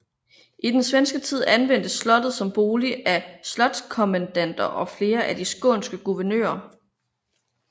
I den svenske tid anvendtes slottet som bolig af slotskommendanter og flere af de skånske guvernører